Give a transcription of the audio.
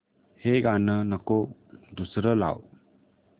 हे गाणं नको दुसरं लाव